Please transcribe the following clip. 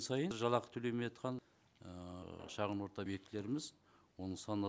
біз жалақы төлемей жатқан ыыы шағын орта объектілеріміз оның саны